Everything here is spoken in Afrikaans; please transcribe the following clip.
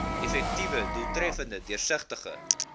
effektiewe doeltreffende deursigtige